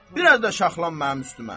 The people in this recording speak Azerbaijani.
Bir az da şaxlan mənim üstümə.